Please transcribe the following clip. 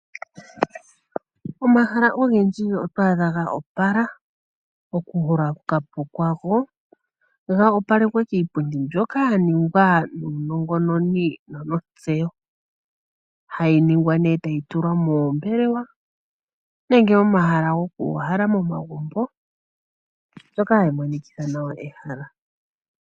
Omahala ogendji oto adha goopala okuholoka po kwago goopalekwa kiipundi mbyoka yaningwa nuunongononi nonontsewo . Hayiningwa ne etayi tulwa moombelewa nenge momahala gokuuhala momagumbo mbyoka hayi monikitha nawa ehala.